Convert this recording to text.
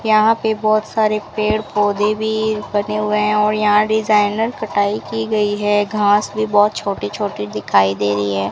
यहां पे बहुत सारे पेड़ पौधे भी बने हुए हैं और यहां डिजाइनर कटाई की गई है घास भी बहुत छोटी छोटी दिखाई दे रही है।